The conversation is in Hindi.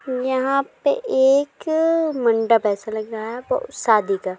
यहाँ पे एक अ मंडप ऐसा लग रहा है शादी का |